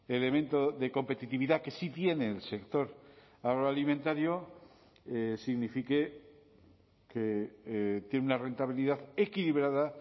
elemento de competitividad que si tiene el sector agroalimentario signifique que tiene una rentabilidad equilibrada